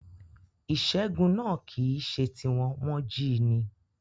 Ìṣẹ́gun náà kìíse ti wọn, wọ́n jíi ni